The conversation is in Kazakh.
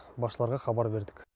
басшыларға хабар бердік